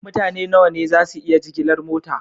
Mutane nawa ne za su iya jigilar mota?